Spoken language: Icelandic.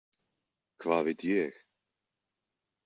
Hvað veit ég?